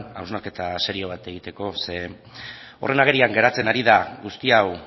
hausnarketa serio bat egiteko zeren horren agerian geratzen ari den guzti hau